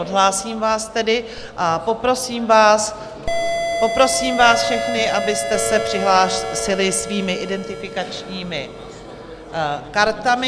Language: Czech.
Odhlásím vás tedy a poprosím vás všechny, abyste se přihlásili svými identifikačními kartami.